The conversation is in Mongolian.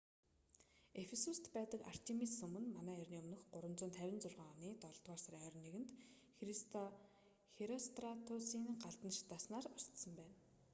ефисуст байдаг артемис сүм нь мэө 356 оны долдугаар сарын 21-нд херостратусийн галдан шатаасанаар устсан болно